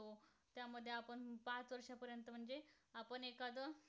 आपण एखादं